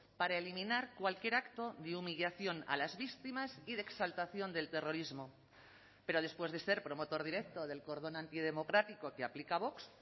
para eliminar cualquier acto de humillación a las víctimas y de exaltación del terrorismo pero después de ser promotor directo del cordón antidemocrático que aplica a vox